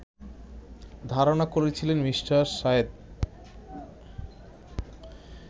ধারণা করছেন মি. শাহেদ